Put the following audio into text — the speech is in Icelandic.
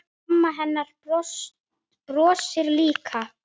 Mamma hennar brosir líka.